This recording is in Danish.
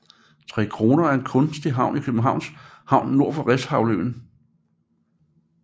Trekroner er en kunstig ø i Københavns Havn nord for Refshaleøen